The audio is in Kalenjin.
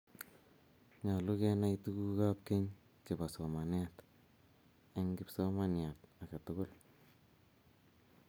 nyoluu kenai tukuk ab keny che bo somanet en kipsomanian aketukul